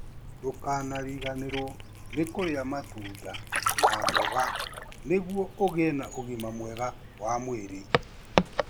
Ndũkariganĩrũo nĩ kũrĩa matunda na mboga nĩguo ũgĩe na ũgima mwega wa mwĩrĩ.